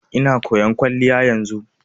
Ina koyan kwalliya yanzu.